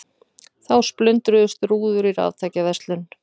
Þá splundruðust rúður í raftækjaverslun